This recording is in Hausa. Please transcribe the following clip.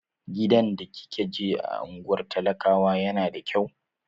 Gidan da kika je a unguwar talakawa yana da kyau?